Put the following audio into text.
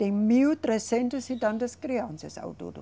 Tem mil trezentas e tantas crianças ao todo.